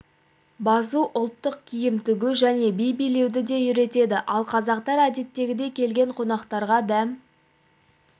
басу ұлттық киім тігу және би билеуді де үйретеді ал қазақтар әдеттегідей келген қонақтарға дәмді